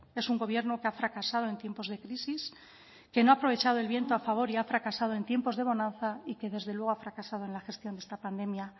es un gobierno que ha fracasado en tiempos de crisis que no ha aprovechado el viento a favor y ha fracasado en tiempos de bonanza y que desde luego ha fracasado en la gestión de esta pandemia